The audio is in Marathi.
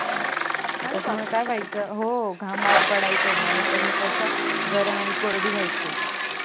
आणि त्यामूळे काय वाहयच अरे बापरे हो घामार पड्याच नाही आणि त्यांनी त्वचा गरम आणि कोरडी पड्याची